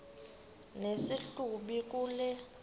nesi hlubi kule